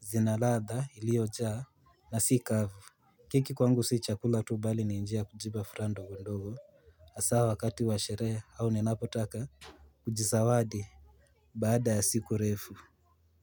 Zinaladha iliojaa na si kavu. Keki kwangu si chakula tu, bali ni njia kujipa furaha ndogondogo. Hasa wakati wa sherehe au ninapotaka kujizawadi baada ya siku refu.